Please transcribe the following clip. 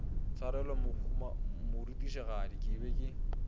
tshwarelo morutišigadi ke be ke